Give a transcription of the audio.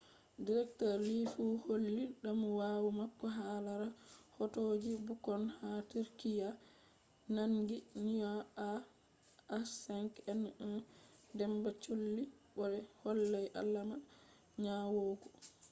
dr. lee fu holli damuwa mako hala rahotoji bukkon ha turkiyya nangi nyau ah5n1 damba cholli bo be hollai alama nyawugo